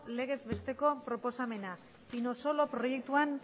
legez besteko proposamena pinosolo proiektuan